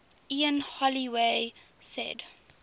ian holloway said